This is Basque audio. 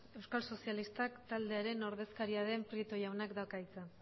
euskal sozialistak taldearen ordezkaria den prieto jaunak dauka hitza